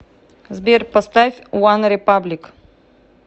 сбер поставь ванрепаблик